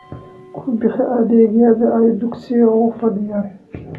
Ku bixi adeegyada ay dugsiga u fidiyaan.